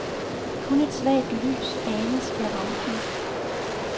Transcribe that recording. Kun et svagt lys anes ved rampen.